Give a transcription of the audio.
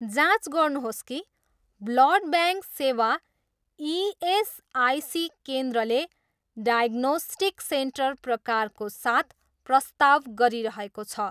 जाँच गर्नुहोस् कि ब्लड ब्याङ्क सेवा इएसआइसी केन्द्रले डायग्नोस्टिक सेन्टर प्रकारको साथ प्रस्ताव गरिरहेको छ।